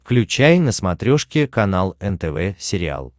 включай на смотрешке канал нтв сериал